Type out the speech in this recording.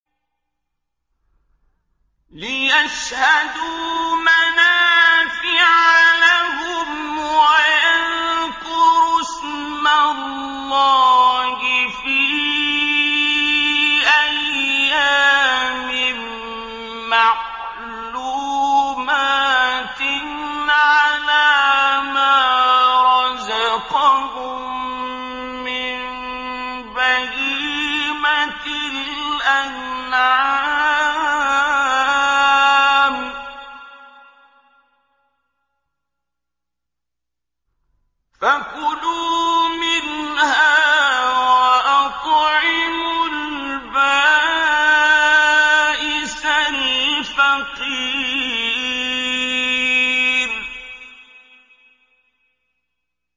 لِّيَشْهَدُوا مَنَافِعَ لَهُمْ وَيَذْكُرُوا اسْمَ اللَّهِ فِي أَيَّامٍ مَّعْلُومَاتٍ عَلَىٰ مَا رَزَقَهُم مِّن بَهِيمَةِ الْأَنْعَامِ ۖ فَكُلُوا مِنْهَا وَأَطْعِمُوا الْبَائِسَ الْفَقِيرَ